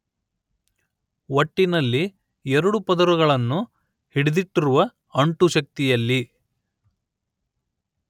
ಒಟ್ಟಿನಲ್ಲಿ ಎರಡು ಪದರಗಳನ್ನು ಹಿಡಿದಿಟ್ಟಿರುವ ಅಂಟು ಶಕ್ತಿಯಲ್ಲಿ